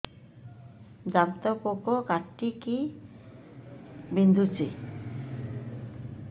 ଦାନ୍ତ ପୋକ କାଟିକି ବିନ୍ଧୁଛି